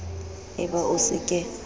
e ba o se ke